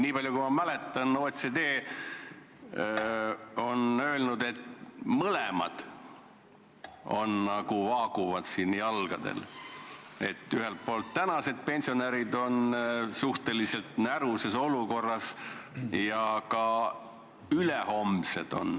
Nii palju kui ma mäletan, on OECD öelnud, et mõlemad vaaguvad siin hinge: ühelt poolt on suhteliselt näruses olukorras tänased pensionärid ja teiselt poolt ka ülehomsed.